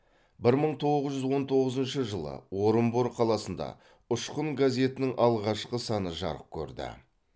бір мын тоғыз жүз он тоғызыншы жылы орынбор қаласында ұшқын газетінің алғашқы саны жарық көрді